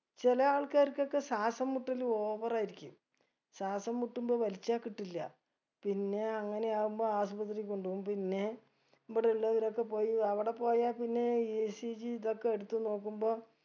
ചില ആൾക്കാർക്കൊക്കെ ശ്വാസം മുട്ടല് over ആയിരിക്കും ശ്വാസംശാസം മുട്ടുമ്പൊ വലിച്ച കിട്ടില്ല പിന്നെ അങ്ങനെ ആവുമ്പൊ ആസ്പത്രിയി കൊണ്ടുപോകും പിന്നെ ഇബ്ടെ ഉള്ളവരൊക്കെ പോയി അവിടെ പോയ പിന്നെ ഈ ECG ഇതൊക്കെ എടുത്ത് നോക്കുമ്പൊ